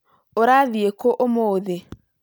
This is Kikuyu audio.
ũrathiĩ kũ ũmũthĩ?